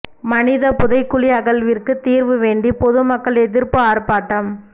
மனிதப் புதைகுழி அகழ்விற்கு தீர்வு வேண்டி பொது மக்கள் எதிர்ப்பு ஆர்ப்பாட்டம்